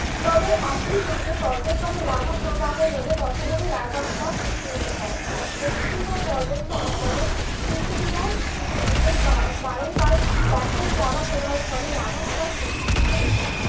তবে একই লাভা প্রবাহ হলে কতগুলি লাভা স্তর সৃষ্টি হতে পারে? পশ্চিম ঘাট পার্বত্য অঞ্চলে উপযুগে বারংবার লাভা প্রবাহের ফলে লাভা স্তর সৃষ্টি হয়েছে।